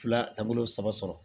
Filabolo saba sɔrɔ